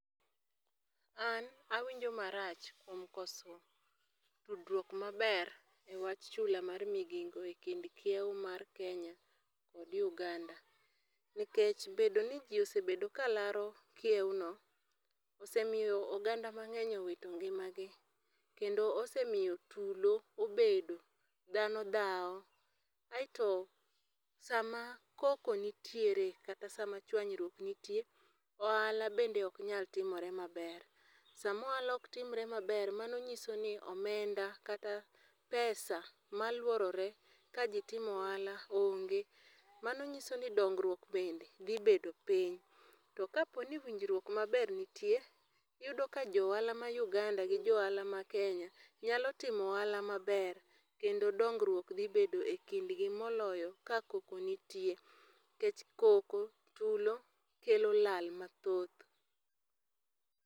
An awinjo marach kuom koso tudruok maber e wach chula mar migingo e kind kiew mar Kenya to kod Uganda. Nikech, bedo ni gi osebedo ka laro kiew no, osemiyo oganda mangény owito ngimagi. Kendo osemiyo tulo obedo, dhano dhao. Aeto sama koko nitiere, kata sama chwanyruok nitie ohala bende ok nyal timore maber. Sama ohala ok timore maber, mano nyisoni omenda kata pesa maluorore ka ji timo ohala onge. Mano nyisoni dongruok bende dhi bedo piny. To ka po ni winjruok maber nitie, iyudo ka jo ohala ma Uganda, gi jo ohala ma kenya, nyalo timo ohala maber, kendo dongruok dhi bedo e kindgi, moloyo ka koko nitie. Nikech koko, tulo, kelo lal mathoth.